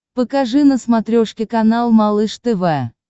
покажи на смотрешке канал малыш тв